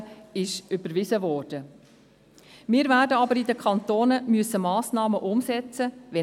– Sobald das CO-Gesetz überwiesen sein wird, werden wir in den Kantonen Massnahmen umsetzen müssen.